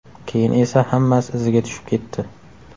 Keyin esa hammasi iziga tushib ketdi.